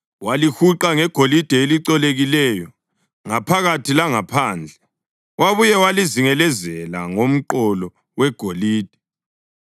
Walihuqa ngegolide elicolekileyo, ngaphakathi langaphandle, wabuye walizingelezela ngomqolo wegolide.